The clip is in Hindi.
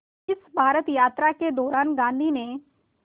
इस भारत यात्रा के दौरान गांधी ने